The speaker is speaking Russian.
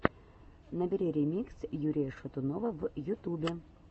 набери ремикс юрия шатунова в ютубе